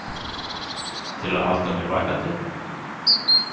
Til að halda mér vakandi?